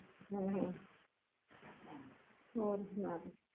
ਅਹ ਹੋਰ ਸੁਣਾ ਤੂੰ